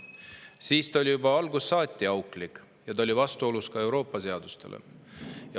See oli juba algusest saati auklik ja ka vastuolus Euroopa.